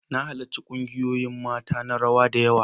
Na halarci kungiyoyin mata na rawa da yawa.